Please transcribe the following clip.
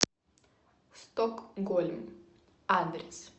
стокгольм адрес